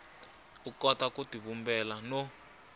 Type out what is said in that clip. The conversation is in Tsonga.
u kota ku tivumbela no